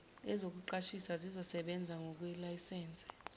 ezokuqashisa zizosebenza ngokwelayisense